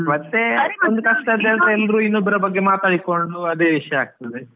ಮತ್ತೆ ಇನ್ನೊಬ್ರ ಬಗ್ಗೆ ಮಾತಾಡಿಕೊಂಡ್ ಅದೇ ವಿಷ್ಯ ಆಗ್ತದೆ.